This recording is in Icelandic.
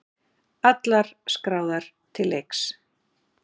Allar skráðar til leiks